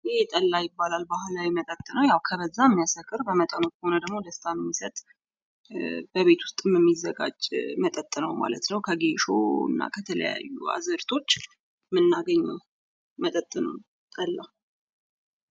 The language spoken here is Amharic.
ይህ ጠላ ይባላል ባህላዊ መጠጥ ነው። ከበዛ የሚያሰክር በመጠኑ ከሆነ ደግሞ ደስታን የሚሰጥ በቤት ውስጥም የሚዘጋጅ መጠጥ ነው ማለት ነው ከጌሾ ከተለያዩ አዝርቶች የምናገኘው መጠጥ ነው ጠላ።